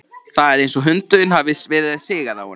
Það er eins og hundunum hafi verið sigað á hana.